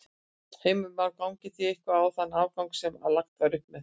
Heimir Már: Gangið þið eitthvað á þann afgang sem að lagt var upp með?